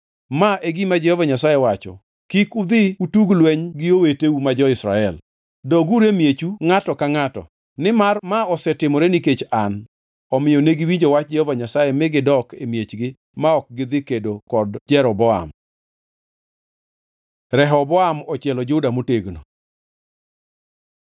Ma e gima Jehova Nyasaye owacho: ‘Kik udhi utug lweny gi oweteu ma jo-Israel. Doguru e miechu ngʼato ka ngʼato, nimar ma osetimore nikech an.’ ” Omiyo negiwinjo wach Jehova Nyasaye mi gidok e miechgi ma ok gidhi kedo kod Jeroboam. Rehoboam ochielo Juda motegno